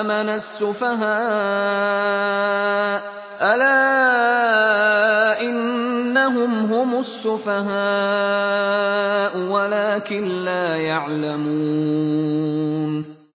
آمَنَ السُّفَهَاءُ ۗ أَلَا إِنَّهُمْ هُمُ السُّفَهَاءُ وَلَٰكِن لَّا يَعْلَمُونَ